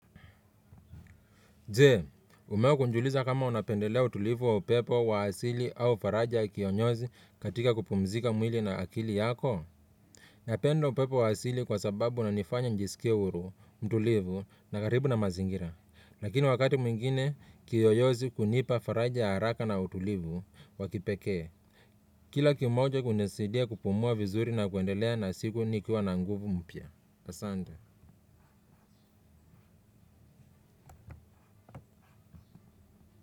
Jee, umewahi kujiuliza kama unapendelea utulivu wa upepo wa asili au faraja kionyozi katika kupumzika mwili na akili yako? Napendo upepo wa asili kwa sababu unanifanya njisikie huru, mtulivu na karibu na mazingira. Lakini wakati mwingine, kiyoyozi hunipa faraja ya haraka na utulivu wa kipekee. Kila kimoja hunisaidia kupumua vizuri na kuendelea na siku nikiwa na nguvu mpya. Asante.